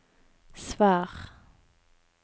svar